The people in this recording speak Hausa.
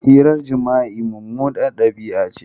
Hirar jima'i mummunar dabi'a ce.